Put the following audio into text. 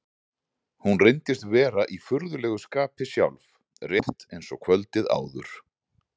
Hún reyndist vera í furðulegu skapi sjálf, rétt eins og kvöldið áður.